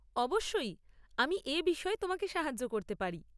অবশ্যই, আমি এ বিষয়ে তোমাকে সাহায্য করতে পারি।